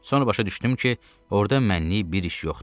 Sonra başa düşdüm ki, orda mənnik bir iş yoxdur.